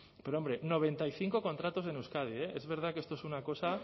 pero hombre noventa y cinco contratos en euskadi eh es verdad que esto es una cosa